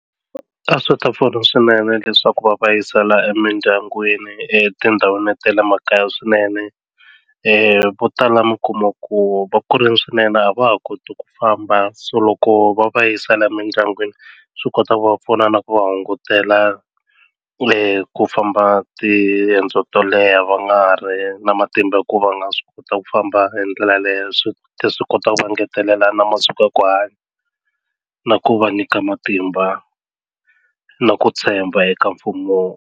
A swi ta pfuna swinene leswaku va va yisela emindyangwini etindhawini ta le makaya swinene vo tala mi kuma ku va ku ri swinene a va ha koti ku famba so loko va va yisela emindyangwini swi kota ku va pfuna na ku va hungutela ku famba tiendzo to leha va nga ri na matimba hi ku va nga swi kota ku famba hi ndlela leyo swi ta swi kota ku va ngetelela na masiku ya ku hanya na ku va nyika matimba na ku tshemba eka mfumo.